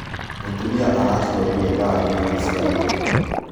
Mũtumia araciarire thaa inyanya cia ũtuko.